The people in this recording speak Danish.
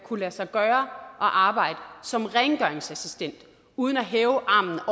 kunne lade sig gøre at arbejde som rengøringsassistent uden at hæve armen